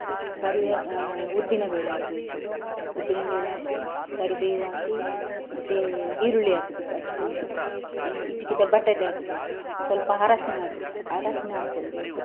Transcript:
ಕರಿವೇ ಆ ಉದ್ದಿನಬೇಳೆ ಹಾಕ್ಬೇಕು, ಉದ್ದಿನಬೇಳೆ ಹಾಕಿ, ಕರಿಬೇವು ಹಾಕಿ ಮತ್ತೇ ಈರುಳ್ಳಿ ಹಾಕ್ಬೇಕು ಹಚ್ಚಿಕೊಂಡದ್ದು ಅಂದ್ರೆ ಹಿಚುಕಿದ ಬಟಾಟೆ ಹಾಕ್ಬೇಕು ಸ್ವಲ್ಪ ಹರಸಿನ ಅರಸಿನ ಹಾಕ್ಕೊಳ್ಳಬೇಕು.